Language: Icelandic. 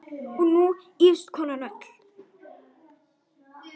Og nú ýfist konan öll.